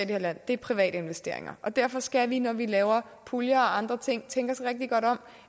her land er private investeringer og derfor skal vi når vi laver puljer og andre ting tænke os rigtig godt om